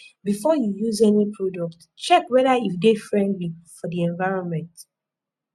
before you use any product check whether e de friendly for di environment